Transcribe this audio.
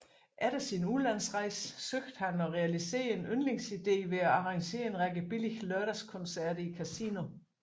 Efter sin udenlandsrejse søgte han at realisere en yndlingsidé ved at arrangere en række billige lørdagskoncerter i Casino